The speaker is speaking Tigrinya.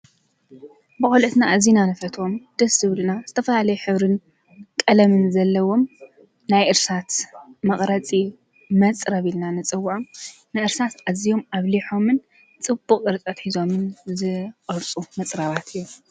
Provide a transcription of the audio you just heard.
ብዂልኦትና እዚና ነፈትዎም ደስእዮምልና ዝተፍለየ ኅብርን ቀለምን ዘለዎም ናይ እርሳት መቕረጺ መጽረብ ኢልና ንጽውዖ ንእርሳት እዚዮም ኣብሊሖምን ጽቡቕ ዕርጠት ኂዞምን ዝወርፁ መጽረባት እዮም።